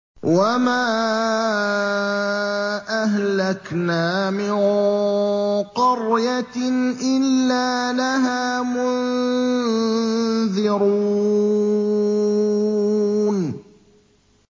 وَمَا أَهْلَكْنَا مِن قَرْيَةٍ إِلَّا لَهَا مُنذِرُونَ